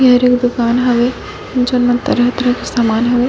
यहाँ एक दुकान हवे जोन म तरह तरह के समान हवे --